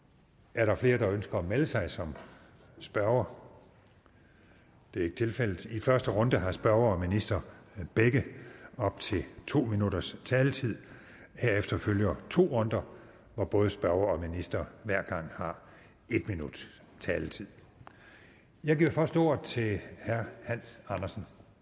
er der flere der ønsker at melde sig som spørgere det er ikke tilfældet i første runde har spørger og minister begge op til to minutters taletid herefter følger to runder hvor både spørger og minister hver gang har en minuts taletid jeg giver først ordet til herre hans andersen